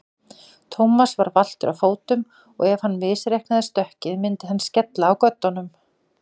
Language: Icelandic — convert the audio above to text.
Thomas var valtur á fótum og ef hann misreiknaði stökkið myndi hann skella á göddunum.